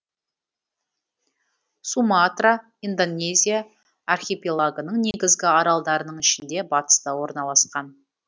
суматра индонезия архипелагының негізгі аралдарының ішінде батыста орналасқан